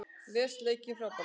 Les leikinn frábærlega